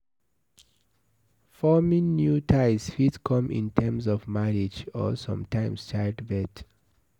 Forming new ties fit come in terms of marriage and sometimes childbirth